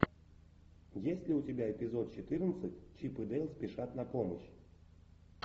есть ли у тебя эпизод четырнадцать чип и дейл спешат на помощь